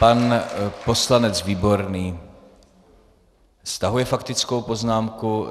Pan poslanec Výborný stahuje faktickou poznámku.